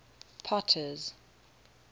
potter's